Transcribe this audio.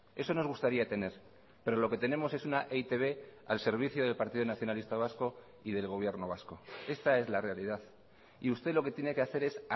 eso nos gustaría tener pero lo que tenemos es una e i te be al servicio del partido nacionalista vasco y del gobierno vasco esta es la realidad y usted lo que tiene que hacer es